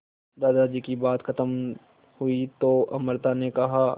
दादाजी की बात खत्म हुई तो अमृता ने कहा